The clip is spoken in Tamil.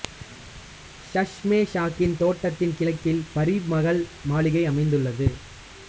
சஷ்மெ ஷாகி தோட்டத்தின் கிழக்கில் பரி மகல் மாளிகை அமைந்துள்ளது